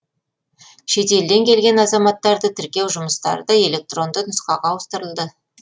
шетелден келген азаматтарды тіркеу жұмыстары да электронды нұсқаға ауыстырылды